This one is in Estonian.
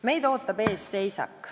Meid ootab ees seisak.